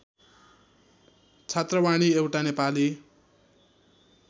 छात्रवाणी एउटा नेपाली